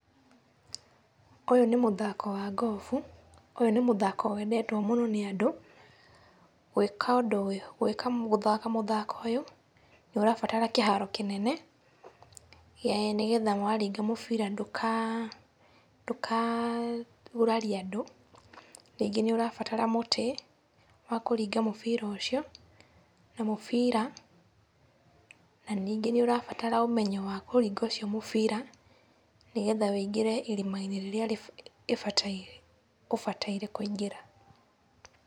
Ũyũ nĩ mũthako wa ngobu, ũyũ nĩ mũthako wendetũo mũno nĩ andũ. Gwĩka ũndũ ũyũ, gũthaka mũthako ũyũ, nĩ ũrabatara kĩharo kĩnene nĩgetha waringa mũbira ndũkagurarie andũ, rĩngĩ nĩ ũrabatara mũtĩ wa kũringa mũbira ũcio na mũbira, na ningĩ nĩ ũrabatara ũmenyo wa kũringa ũcio mũbira, nĩgetha ũingĩre irimainĩ rĩrĩa ũbataireú kũingĩra.